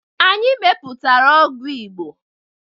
Anyị mepụtara ọgwụ Igbo